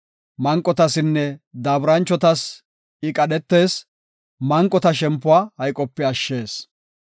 Manqotasinne daaburanchotas I qadhetees; manqota shempuwa hayqope ashshees.